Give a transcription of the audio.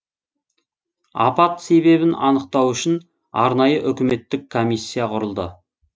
апат себебін анықтау үшін арнайы үкіметтік комиссия құрылды